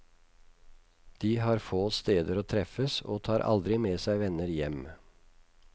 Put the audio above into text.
De har få steder å treffes og tar aldri med seg venner hjem.